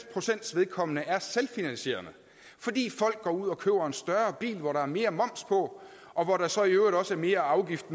procent vedkommende er selvfinansierende fordi folk går ud og køber en større bil hvor der er mere moms og hvor der så i øvrigt også er mere afgift